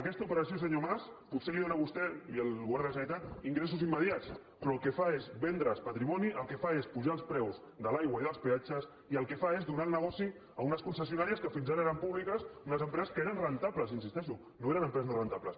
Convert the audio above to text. aquesta operació senyor mas potser li dóna a vostè i al govern de la generalitat ingressos immediats però el que fa és vendre’s patrimoni el que fa és apujar els preus de l’aigua i dels peatges i el que fa és donar el negoci a unes concessionàries que fins ara eren públiques unes empreses que eren rendibles hi insisteixo no eren empreses no rendibles